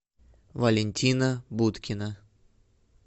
валентина будкина